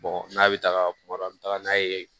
n'a bɛ taga kuma dɔ an bɛ taga n'a ye